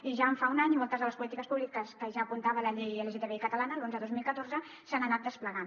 i ja en fa un any i moltes de les polítiques públiques que ja apuntava la llei lgtbi catalana l’onze dos mil catorze s’han anat desplegant